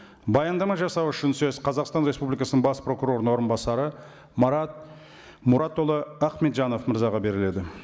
баяндама жасау үшін сөз қазақстан республикасының бас прокурорының орынбасары марат мұратұлы ахметжанов мырзаға беріледі